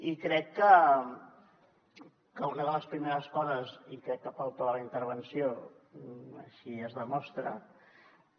i crec que una de les primeres coses i crec que pel to de la intervenció així es demostra